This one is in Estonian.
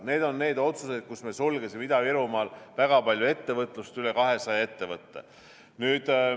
Need on need otsused, millega me sulgesime Ida-Virumaal väga palju ettevõtlust – üle 200 ettevõtte.